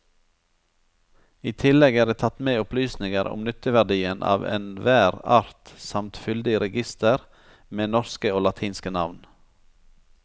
I tillegg er det tatt med opplysninger om nytteverdien av enhver art samt fyldig reigister med norske og latinske navn.